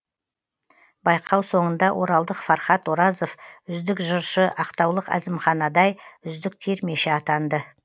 байқау соңында оралдық фархат оразов үздік жыршы ақтаулық әзімхан адай үздік термеші атанды